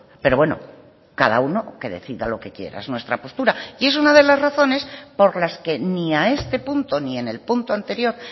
pero bueno cada uno que decida lo que quiera es nuestra postura y es una de las razones por las que ni a este punto ni en el punto anterior